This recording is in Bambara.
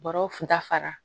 Bɔrɔw kun ta fara